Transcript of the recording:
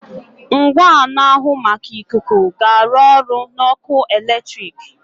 Ngwa na-ahụ maka ikuku ga-arụ ọrụ na ọkụ eletrik.